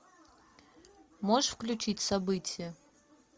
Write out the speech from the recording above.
можешь включить события